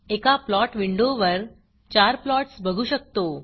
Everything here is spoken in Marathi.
एका प्लॉट विंडोवर 4 प्लॉट्स बघू शकतो